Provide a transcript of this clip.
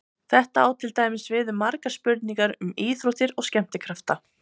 Þetta á til dæmis við um margar spurningar um íþróttir og skemmtikrafta.